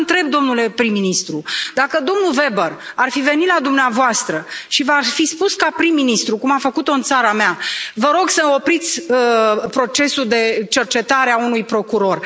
Dar vă întreb, domnule prim ministru, dacă domnul Weber ar fi venit la dumneavoastră și v ar fi spus, ca prim ministru, cum a făcut o în țara mea, Vă rog să opriți procesul de cercetare a unui procuror.